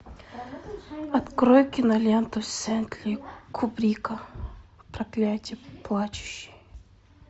открой киноленту стэнли кубрика проклятие плачущей